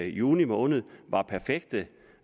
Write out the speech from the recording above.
juni måned var perfekte